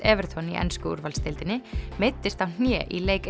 Everton í ensku úrvalsdeildinni meiddist á hné í leik